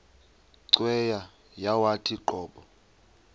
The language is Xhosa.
cweya yawathi qobo